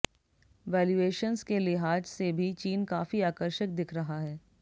valuations के लिहाज से भी चीन काफी आकर्षक दिख रहा है